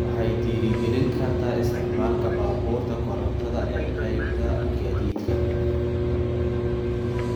Waxay dhiirigelin kartaa isticmaalka baabuurta korontada ee qaybta gaadiidka.